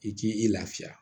I k'i i lafiya